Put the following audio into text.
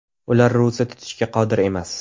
Ular ro‘za tutishga qodir emas.